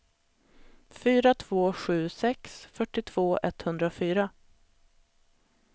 fyra två sju sex fyrtiotvå etthundrafyra